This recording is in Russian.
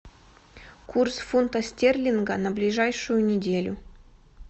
курс фунта стерлинга на ближайшую неделю